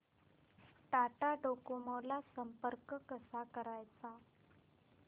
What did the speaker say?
Tata Docomo ला संपर्क कसा करायचा